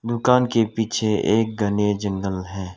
दुकान के पीछे एक घने जंगल है।